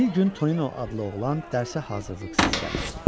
Bir gün Tonino adlı oğlan dərsə hazırlıqsız gəlmişdi.